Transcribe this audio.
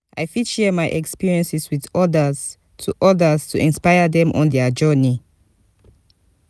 i fit share my experiences with others to others to inspire dem on their journey.